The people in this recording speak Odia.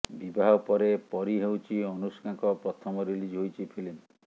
ବିବାହ ପରେ ପରୀ ହେଉଛି ଅନୁଷ୍କାଙ୍କ ପ୍ରଥମ ରିଲିଜ ହୋଇଛି ଫିଲ୍ମ